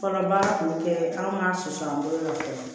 Fɔlɔ baara tun tɛ anw ka soso an bolo nɔ fɛ